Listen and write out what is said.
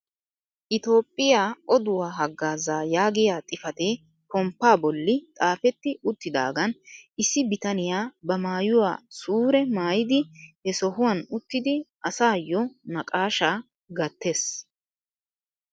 "Itoophphiyaa oduwaa hagaazaa" yaagiyaa xifatee pomppaa bolli xaafetti uttidaagaan issi bitaniyaa ba maayuwaa suure maayidi he sohwaan uttidi asayoo naqashshaa gaattees.